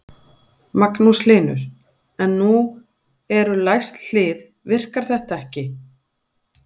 Magnús Hlynur: En nú eru læst hlið, virkar þetta ekki?